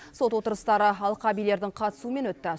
сот отырыстары алқабилердің қатысуымен өтті